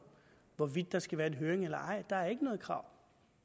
hvorvidt der skal være en høring eller ej der er ikke noget krav